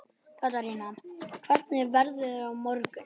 Katarína, hvernig er veðrið á morgun?